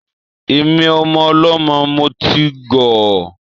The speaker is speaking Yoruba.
Èmi, ọmọ ọlọ́mọ, mo ti gọ̀ ọ́.